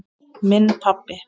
Minn pabbi.